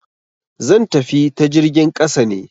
zan tafi ta jirgin ƙasa ne.